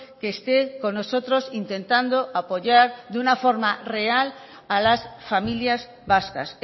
que esté con nosotros intentando apoyar de una forma real a las familias vascas